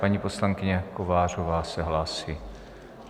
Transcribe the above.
Paní poslankyně Kovářová se hlásí.